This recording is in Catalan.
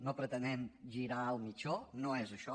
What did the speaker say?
no pretenem girar el mitjó no es això